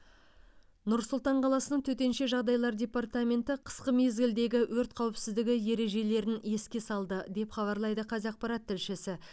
нұр сұлтан қаласының төтенше жағдайлар департаменті қысқы мезгілдегі өрт қауіпсіздігі ережелерін еске салды деп хабарлайды қазақпарат тілшісі